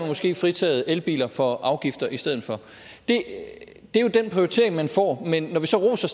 måske fritaget elbiler for afgifter i stedet for det er jo den prioritering man får men når vi så roser